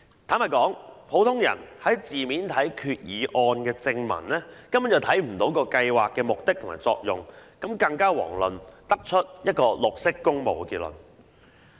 坦白說，普通人從字面看決議案的正文，根本不會看出計劃的目的和作用，遑論得出"綠色工務"的結論。